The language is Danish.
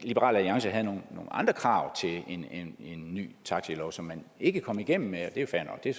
at liberal alliance havde nogle andre krav til en ny taxilov som man ikke kom igennem med og det er fair nok det er